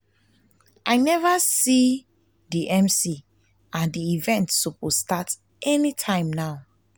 i never see the mc and the event suppose start anytime now